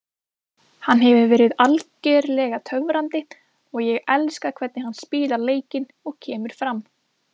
Hann hefur verið algjörlega töfrandi og ég elska hvernig hann spilar leikinn og kemur fram.